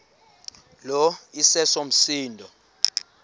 lo iseso msindo